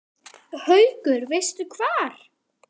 Haukur: Veistu hvar?